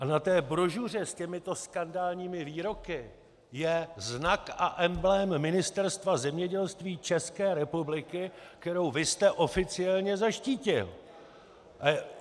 A na té brožuře s těmito skandálními výroky je znak a emblém Ministerstva zemědělství České republiky, kterou vy jste oficiálně zaštítil.